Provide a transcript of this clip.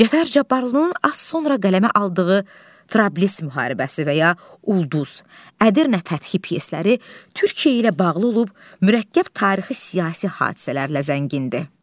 Cəfər Cabbarlının az sonra qələmə aldığı Frablis müharibəsi və ya Ulduz, Ədirnə fəthi pyesləri Türkiyə ilə bağlı olub, mürəkkəb tarixi-siyasi hadisələrlə zəngindir.